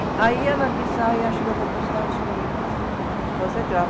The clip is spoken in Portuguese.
Aí ela disse, ai, acho que eu vou para os Estados Unidos fazer Graham.